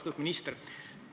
Austatud minister!